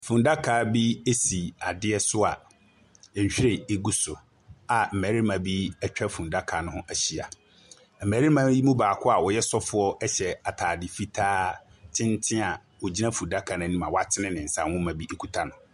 Funnaka bi si adeɛ so a nhwiren gu so a ammarima bi atwa funnaka no ho ahyia. Mmarima yi mu baako a ɔyɛ sɔfo hyaɛ atadeɛ fitaa tenten a ɔgyina funnaka no anim a watene ne nsa, na nwoma bi kita no.